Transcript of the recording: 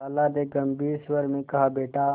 खाला ने गम्भीर स्वर में कहाबेटा